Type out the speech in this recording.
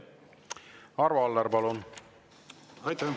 Arvo Aller, palun!